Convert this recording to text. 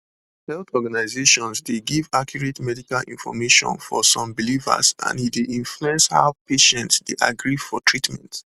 health organizations dey give accurate medical information for some believers and e dey influence how patients dey agree for treatment